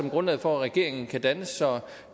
af grundlaget for at regeringen kan dannes så